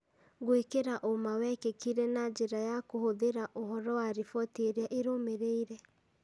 Gũĩkĩra ũma wekĩkire na njĩra ya kũhũthĩra ũhoro na riboti iria irũmĩrĩire,